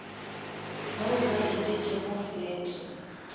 bao ba etetšego flat